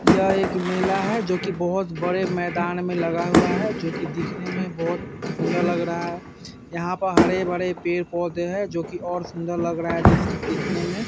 ये एक मेला है जो कि बोहोत बड़े मैदान में लगा हुआ है जो कि दिखने मै बोहोत सुंदर लग रहा है। यहाँ हरे-भरे पेड़-पौधे है जो कि और सुंदर लग रहा है दिख दिखने में ।